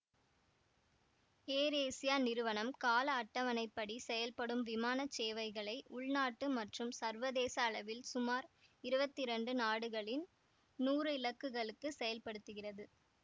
ஏர் Asia நிறுவனம் கால அட்டவணைப்படி செயல்படும் விமான சேவைகளை உள்நாட்டு மற்றும் சர்வதேச அளவில் சுமார் இருவத்தி இரண்டு நாடுகளின் நூறு இலக்குகளுக்கு செயல்படுத்துகிறது